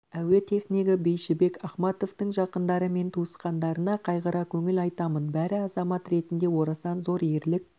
әуе технигі бейшібек ахматовтыңжақындары мен туысқандарына қайғыра көңіл айтамын бәрі азамат ретінде орасан зор ерлік